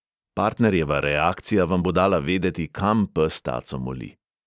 Partnerjeva reakcija vam bo dala vedeti, kam pes taco moli.